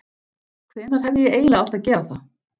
Hvenær hefði ég eiginlega átt að gera það?